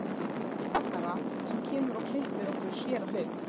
Binna rakara sem kemur og klippir okkur, séra Hauk